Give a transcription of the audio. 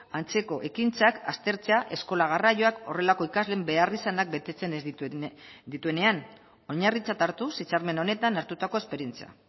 antzeko ekintzak aztertzea eskola garraioak horrelako ikasleen beharrizanak betetzen ez dituenean oinarritzat hartuz hitzarmen honetan hartutako esperientzia